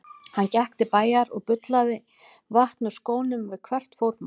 Hann gekk til bæjar og bullaði vatn úr skónum við hvert fótmál.